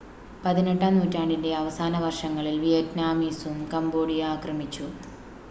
18-ആം നൂറ്റാണ്ടിൻ്റെ അവസാന വർഷങ്ങളിൽ വിയറ്റ്നാമീസും കംബോഡിയ ആക്രമിച്ചു